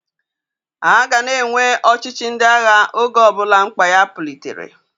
A ga a na-enwe ọchịchị ndị agha oge ọbụla mkpa ya pulitere.